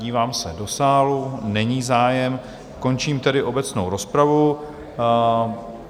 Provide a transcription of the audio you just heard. Dívám se do sálu, není zájem, končím tedy obecnou rozpravu.